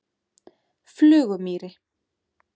Flugumýri